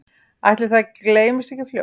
Ætli það gleymist ekki fljótt